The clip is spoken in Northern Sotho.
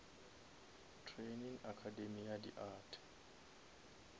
training academy ya di art